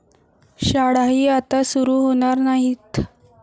शाळाही आता सुरु होणार नाहीत.